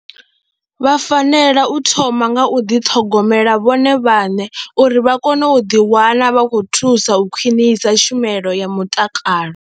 Vha fanela u thoma nga u ḓi ṱhogomela vhone vhaṋe uri vha kone u ḓiwana vha khou thusa u khwinisa tshumelo ya mutakalo.